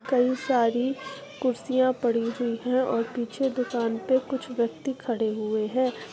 बहोत सारी कुर्सियां पड़ी हुयी है और पीछे दुकान पे कुछ व्यक्ति खड़े हुए है ।